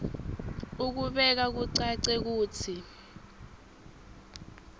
ukubeka kucace kutsi